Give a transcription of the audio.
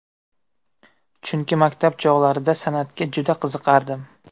Chunki maktab chog‘larida san’atga juda qiziqardim.